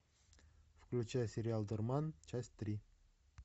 включай сериал дурман часть три